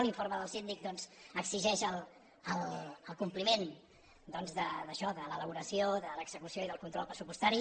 l’informe del síndic doncs exigeix el compliment d’això de l’elaboració de l’execució i del control pressupostari